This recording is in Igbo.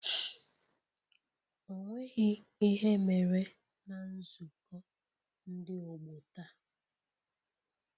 Ọ nweghị ihe mere na nzukọ ndị ọgbọ taa